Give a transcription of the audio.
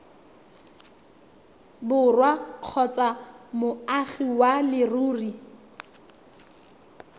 borwa kgotsa moagi wa leruri